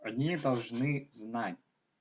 одни должны знать